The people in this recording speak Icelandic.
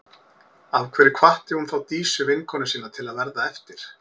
Af hverju hvatti hún þá Dísu, vinkonu sína, til að verða eftir?